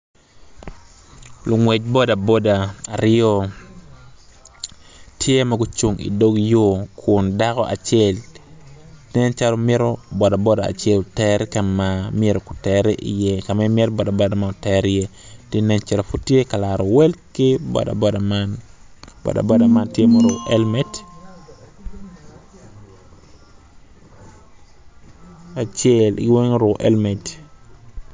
Lungwec bodaboda aryo aryo co man gitye i yeya dok gin gitye ka mako rec gin gitye ka tic ki goli ma odone tye mabit kun giyuto ki rec piny i kabedo man tye ma ocidde dok tye otyeno mapol tye ka nen makwar kun tye dero pa deng madong tye kutyeno ma ceng opoto gin weng oruko elmet.